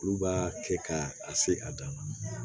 Olu b'a kɛ ka a se a dan na